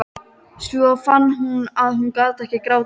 Svo fann hún að hún gat ekki grátið.